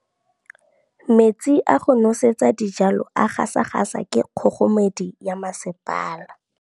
Metsi a go nosetsa dijalo a gasa gasa ke kgogomedi ya masepala.